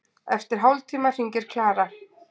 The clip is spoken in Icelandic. Eftir hálftíma hringir Klara.